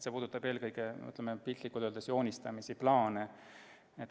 See puudutab piltlikult öeldes eelkõige joonistamist ja plaane.